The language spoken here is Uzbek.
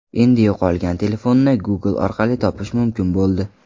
Endi yo‘qolgan telefonni Google orqali topish mumkin bo‘ldi.